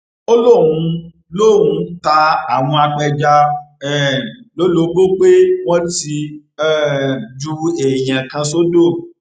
ó lóun lóun ta àwọn apẹja um lólobó pé wọn ti um ju èèyàn kan sódò